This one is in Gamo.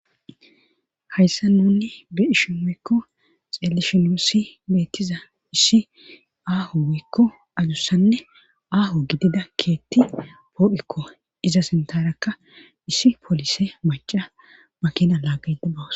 hayssa nuni bi ishi moykko xealishinosi beettiza issi aaho wiykko adussanne aaho gidida keetti poodikko iza sintarakka issi poolise maca makina laaggade bawus